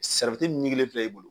ɲiginlen filɛ filɛ e bolo